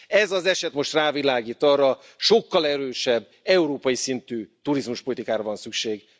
Ez az eset most rávilágít arra, hogy sokkal erősebb európai szintű turizmuspolitikára van szükség.